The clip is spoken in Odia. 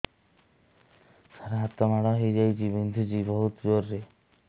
ସାର ହାତ ମାଡ଼ ହେଇଯାଇଛି ବିନ୍ଧୁଛି ବହୁତ ଜୋରରେ